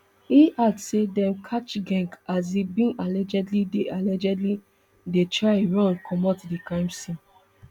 e add say dem catch geng as e bin allegedly dey allegedly dey try run comot di crime scene